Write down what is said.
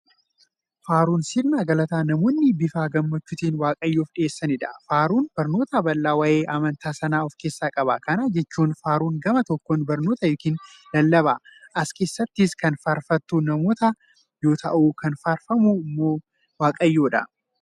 Faaruun sirna galataa namoonni bifa gammachuutin waaqayyoof dhiyeessaniidha. Faaruun barnoota bal'aa waa'ee amantaa sanaa ofkeessaa qaba. Kana jechuun, faaruun gama tokkoon barnoota yookiin lallaba. As keessattis kan faarfatu namoota yoo ta'u, kan faarfamu immoo waaqayyoodha.